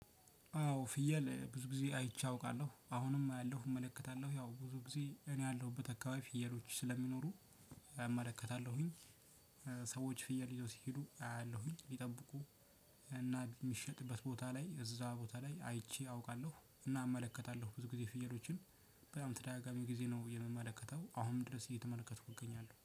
ያው ፍየል ብዙ ጊዜ አይቸ አውቃለሁ። አሁንም አያለሁ ፥እመለከታለሁ። ያው ብዙ ጊዜ እኔ ያለሁበት አካባቢ ፍየሎች ስለሚኖሩ እመለከታለሁኝ። ሰዎች ፍየል ይዘው ሲሄዱ አያለሁኝ። ሊጠብቁ እና የሚሸጥበት ቦታ ላይ እዛ ቦታ ላይ አይቼ አውቃለሁ። እና እመለከታለሁ ብዙ ጊዜ ፍየሎችን በጣም ተደጋጋሚ ጊዜ ነው የምመለከተው አሁንም ድረስ እየተመለከትኩ እገኛለሁ።